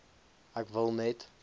ek wil net